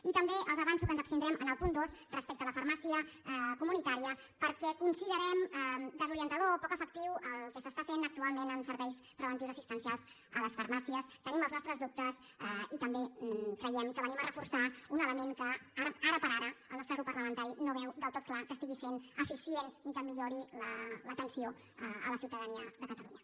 i també els avanço que ens abstindrem en el punt dos respecte a la farmàcia comunitària perquè considerem desorientador o poc efectiu el que s’està fent actualment amb serveis preventius assistencials a les farmàcies tenim els nostres dubtes i també creiem que venim a reforçar un element que ara per ara el nostre grup parlamentari no veu del tot clar que estigui sent eficient ni que millori l’atenció a la ciutadania de catalunya